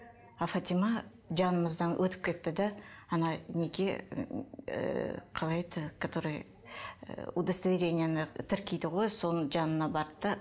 ал фатима жанымыздан өтіп кетті де ана неге ыыы қалай еді который ыыы удостоверениені тіркейді гой соның жанына барды да